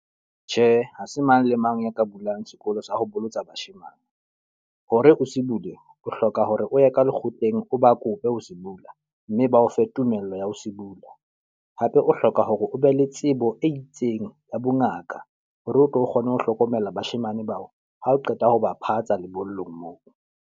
Tjhe, ha se mang le mang a ka bulang sekolo sa ho bolotsa bashemane. Hore ho se bule, o hloka hore o ye ka lekgotleng o ba kope ho se bula. Mme ba o fe tumello ho ya ho se bula. Hape o hloka hore o be le tsebo e itseng ya bongaka hore o tlo kgone ho hlokomela bashemane bao ha o qeta ho ba phatsa lebollong moo.